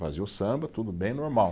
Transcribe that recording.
Fazia o samba, tudo bem, normal.